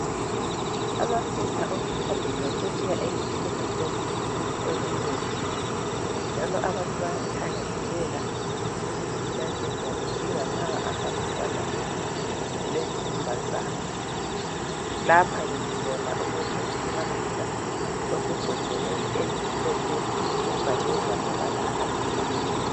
Amafutha okuthambisa sebuya eyimihlobohlobo eminengi, njalo abantu bayathakazelela ukutshintshatshintsha bedinga lawa ahambelana lesikhumba sabo. Lapha ke sibona umuthi wokuthambisa osembodleleni emhlopho ebhalwe ngamabala aluhlaza.